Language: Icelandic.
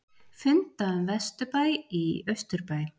Funda um vesturbæ í austurbæ